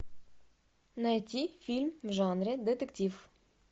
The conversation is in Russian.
найти фильм в жанре детектив